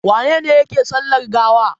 Wane ne yake sallar gawa?